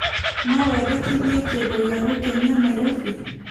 No wendekithie kĩndũ gĩa gũkenia Naĩrobĩ .